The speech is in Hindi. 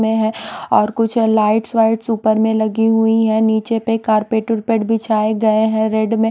में हैं और कुछ लाइट्स वाइट्स ऊपर में लगी हुई हैं नीचे पे कारपेट वुरपेट बिछाए गए हैं रेड में--